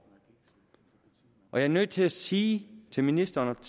og jeg er nødt til at sige til ministeren